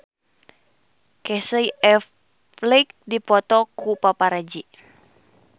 Casey Affleck dipoto ku paparazi